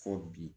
Fɔ bi